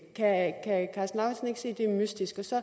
se at det er mystisk og så